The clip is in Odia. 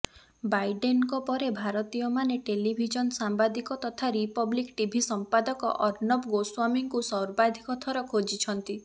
ବାଇଡ଼େନଙ୍କ ପରେ ଭାରତୀୟମାନେ ଟେଲିଭିଜନ ସାମ୍ବାଦିକ ତଥା ରିପବ୍ଲିକ୍ ଟିଭି ସମ୍ପାଦକ ଅର୍ଣବ ଗୋସ୍ବାମୀଙ୍କୁ ସର୍ବାଧିକ ଥର ଖୋଜିଛନ୍ତି